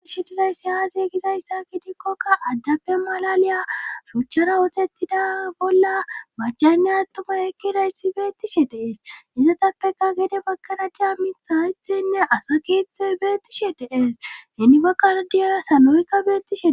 Aishe dizayssi aaze gizayssa gidikkoka addappe malaliya suchchara wootettida bolla macaynne attumay ekkidayssi beettishe dees izatappeka gede baggana dia mithaythenne asakithe beettishe dees henibakaradiya saloykka bettishe